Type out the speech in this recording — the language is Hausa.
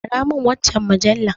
Aramin waccan mujallar.